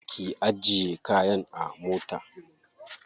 Ki ajiye kayan a mota.